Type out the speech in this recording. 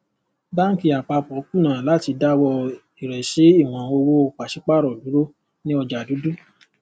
báńkì àpapọ kùnà láti dáwọ ìrẹsí ìwọn owó paṣípààrọ dúró ní ọjà dúdú